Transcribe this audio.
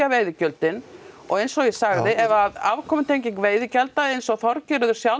veiðigjöldin eins og ég sagði ef afkomutenging veiðigjalda eins og Þorgerður sjálf